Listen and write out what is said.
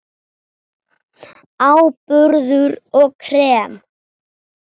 Áburður og krem